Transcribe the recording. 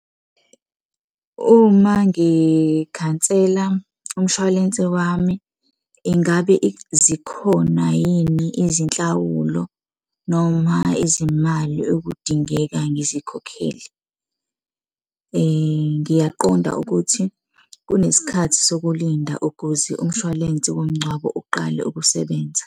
Uma ngikhansela umshwalense wami, ingabe zikhona yini izinhlawulo noma izimali okudingeka ngizikhokhele. Ngiyaqonda ukuthi kunesikhathi sokulinda ukuze umshwalense womngcwabo uqale ukusebenza.